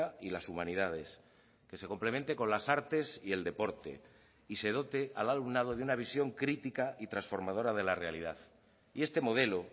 y las humanidades que se complemente con las artes y el deporte y se dote al alumnado de una visión crítica y transformadora de la realidad y este modelo